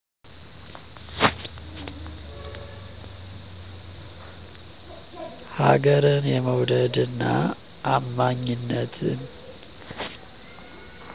ሀገርን የመዉደድ እና አማኝነትን!